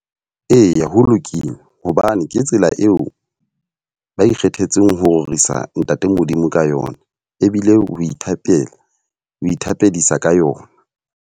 Eya ho lokile. Hobane ke tsela eo ba ikgethetseng ho rorisa ntate Modimo ka yona. Ebile o ithatela, ho ithapisa ka yona.